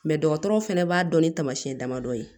dɔgɔtɔrɔw fana b'a dɔn ni tamasiyɛn damadɔ ye